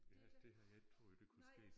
Ja det havde jeg ikke troet det kunne ske